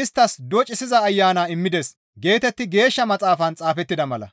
isttas doccissiza Ayana immides» geetetti Geeshsha Maxaafan xaafettida mala.